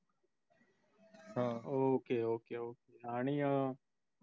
ok ok ok आणि अं